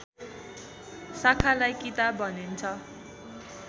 शाखालाई किताब भनिन्छ